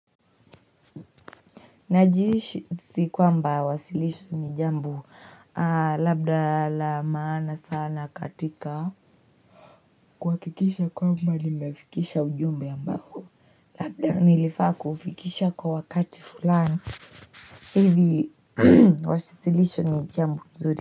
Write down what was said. Najihisi kwamba wasilisho ni jambo labda la maana sana katika kuhakikisha kwamba limefikisha ujumbe ambao Labda nilifaa kuufikisha kwa wakati fulani hivi wasilisho ni jambo nzuri.